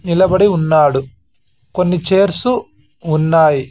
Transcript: నిలబడి ఉన్నాడు కొన్ని చైర్స్ ఉన్నాయి.